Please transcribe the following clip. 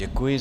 Děkuji.